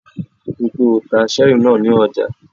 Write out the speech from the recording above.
Ríi dájú pé o ta cherry náà ní ọjà!